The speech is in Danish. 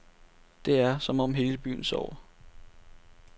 Det er, som om hele byen sover.